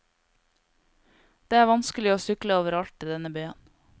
Det er vanskelig å sykle overalt i denne byen.